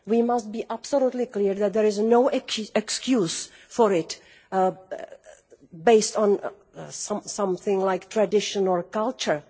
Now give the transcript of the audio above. We must be absolutely clear that there is no excuse for it, based on some something like tradition or culture.